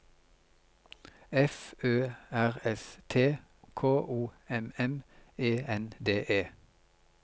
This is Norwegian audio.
F Ø R S T K O M M E N D E